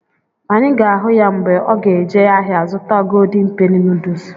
Anyị ga-ahụ ya mgbe ọ ga eje ahịa zụta ‘Golden penny noodles’